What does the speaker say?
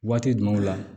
Waati jumɛnw la